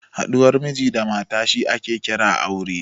Haɗuwar Miji da mata shi ake kira aure